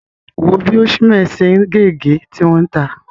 Wò ó bí Osimhen ṣe ń gé ègé, tí wọ́n ta!